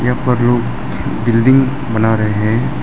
यहां पे लोग बिल्डिंग बना रहे हैं।